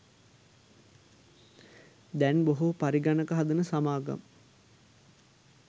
දැන් බොහෝ පරිගණක හදන සමාගම්